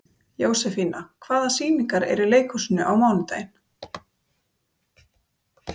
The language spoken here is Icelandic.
Jósefína, hvaða sýningar eru í leikhúsinu á mánudaginn?